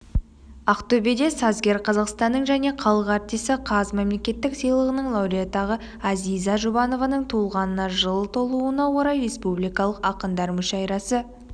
ақтөбеде сазгер қазақстанныңжәне халық артисі қаз мемлекеттік сыйлығының лауреатығазиза жұбанованың туылғанына жыл толуынаорай республикалық ақындар мүшәйрасы